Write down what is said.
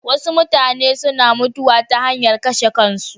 Wasu mutane suna mutuwa ta hanyar kashe kansu.